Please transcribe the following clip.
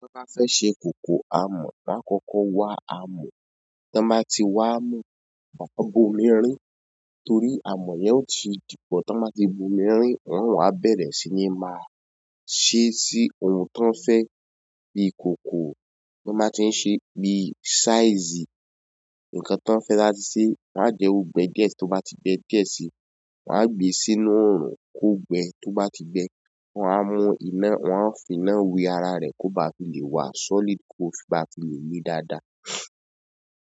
Tí wọ́n bá fẹ́ ṣe kòkò amọ̀, wọ́n akọ́kọ́ wa amọ̀, tí wọ́n bá ti wa amọ̀, wọ́n máa bo mirin, torí amọ̀ yẹn ó ti dípọ̀ tí wọ́n bá ti bo mirin, wọn a bẹ̀rẹ̀ sí ní máa ṣe sí ohun tí wọ́n fẹ́, bí ikòkò, wọ́n máa ti ń ṣe bí i size, nǹkan tí wọ́n fẹ́ láti ṣe. Má jẹ́ ó gbẹ diẹ síi, tí ó bá ti gbẹ diẹ síi, wọ́n á gbe sínú oòrùn kó gbẹ, tí ó bá ti gbẹ, wọ́n á mú iná, wọ́n a fi iná wi ara rẹ̀ kó ba fi lè wa solid, kó bá fi lè le dáadáa.